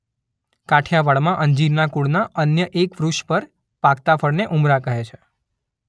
કાઠિયાવાડમાં અંજીરનાં કુળના અન્ય એક વૃક્ષ પર પાકતા ફળને ઉમરા કહે છે.